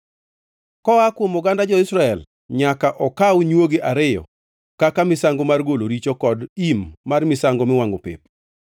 Koa kuom oganda jo-Israel nyaka okaw nywogi ariyo kaka misango mar golo richo kod im mar misango miwangʼo pep.